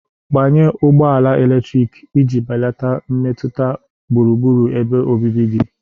Gbanye ụgbọ ala eletrik iji belata mmetụta gburugburu ebe obibi gị.